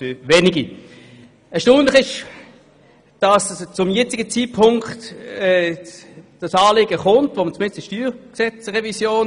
Wir werden in Ruhe analysieren, was geschehen ist, wie es geschehen konnte und wie diese Leute dort hinaufgelangt sind.